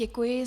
Děkuji.